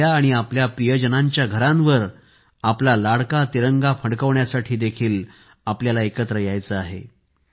आपल्या आणि आपल्या प्रियजनांच्या घरांवर आपला लाडका तिरंगा फडकविण्यासाठी देखील आपल्याला एकत्र यायचे आहे